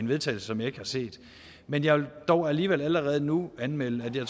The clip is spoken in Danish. vedtagelse som jeg ikke har set men jeg vil dog alligevel allerede nu anmelde at jeg